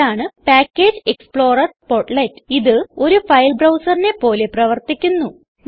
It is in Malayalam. ഇതാണ് പാക്കേജ് എക്സ്പ്ലോറർ പോർട്ട്ലെറ്റ് ഇത് ഒരു ഫൈൽ Browserനെ പോലെ പ്രവർത്തിക്കുന്നു